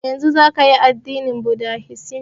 Daga yanzun zaka yi addinin budahisim